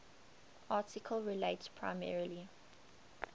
article relates primarily